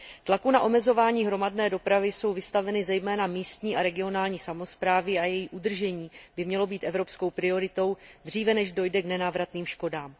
Tlaku na omezování hromadné dopravy jsou vystaveny zejména místní a regionální samosprávy a její udržení by mělo být evropskou prioritou, dříve než dojde k nenávratným škodám.